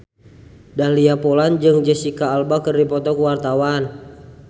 Dahlia Poland jeung Jesicca Alba keur dipoto ku wartawan